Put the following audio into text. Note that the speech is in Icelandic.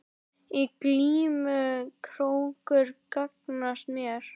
Í glímu krókur gagnast mér.